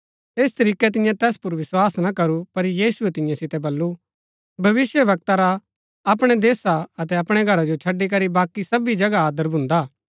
ऐस तरीकै तिन्यै तैस पुर विस्वास ना करू पर यीशुऐ तियां सितै बल्लू भविष्‍यवक्ता रा अपणै देशा अतै अपणै घरा जो छड़ी करी बाकी सबी जगह आदर भून्दा हा